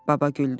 Baba güldü.